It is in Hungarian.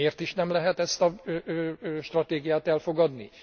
Miért is nem lehet ezt a stratégiát elfogadni?